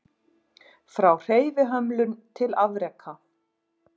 Frá hreyfihömlun til afreka